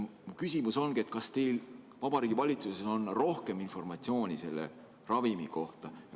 Mu küsimus ongi: kas teil Vabariigi Valitsuses on rohkem informatsiooni selle ravimi kohta?